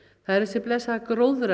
það er þessi blessaða